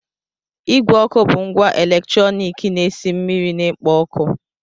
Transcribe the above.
Igwe ọkụ bụ ngwa eletrọnịkị na-esi mmiri na-ekpo ọkụ.